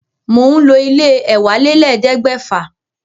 Mò ń lo ilé e èwálélẹ́ẹ̀ẹ́dẹ́gbẹ́fà